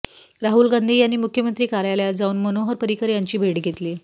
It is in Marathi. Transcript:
राहुल गांधी यांनी मुख्यंमत्री कार्यालयात जाऊन मनोहर पर्रीकर यांची भेट घेतली